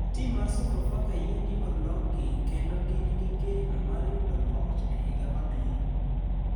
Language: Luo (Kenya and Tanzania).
Tim mar sofa faka yie ni ologi kendo gin gi geno mar yudo loch e higa mabiro.